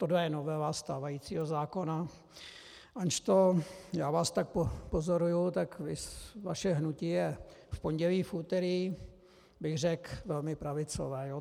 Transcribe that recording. Tohle je novela stávajícího zákona, anžto jak vás tak pozoruji, tak vaše hnutí je v pondělí, v úterý, bych řekl, velmi pravicové.